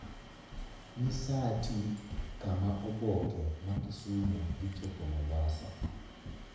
nyisaati kama oboke ma kisumu dhichopo mombasa